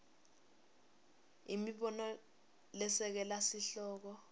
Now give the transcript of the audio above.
imibono lesekela sihloko